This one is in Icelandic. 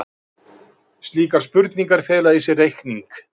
Slíkar spurningar fela í sér reikning.